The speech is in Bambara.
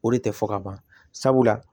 O de tɛ fɔ ka ban sabula